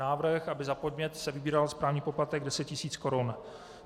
Návrh, aby za podnět se vybíral správní poplatek 10 tisíc korun.